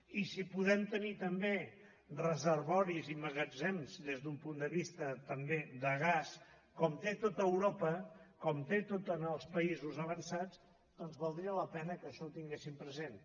i si podem tenir també reservoris i magatzems des d’un punt de vista també de gas com té tot europa com tenen tots els països avançats doncs valdria la pena que això ho tinguéssim present